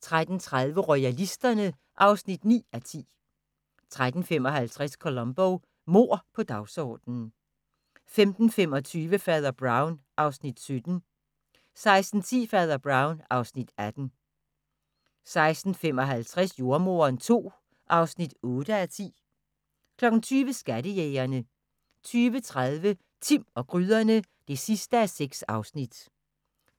13:30: Royalisterne (9:10) 13:55: Columbo: Mord på dagsordenen 15:25: Fader Brown (Afs. 17) 16:10: Fader Brown (Afs. 18) 16:55: Jordemoderen II (8:10) 20:00: Skattejægerne 20:30: Timm og gryderne (6:6)